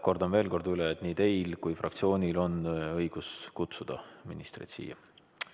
Kordan veel kord üle, et nii teil kui ka fraktsioonil on õigus kutsuda ministreid siia.